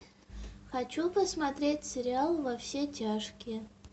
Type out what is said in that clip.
хочу посмотреть сериал во все тяжкие